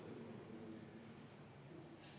V a h e a e g